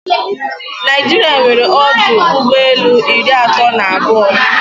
Naijiria nwere ọdụ ụgbọelu iri atọ na abụọ.